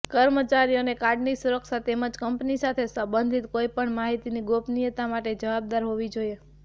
કર્મચારીઓને કાર્ડની સુરક્ષા તેમજ કંપની સાથે સંબંધિત કોઈપણ માહિતીની ગોપનીયતા માટે જવાબદાર હોવી જોઈએ